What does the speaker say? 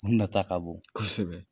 U nata ka bon. Kosɛbɛ.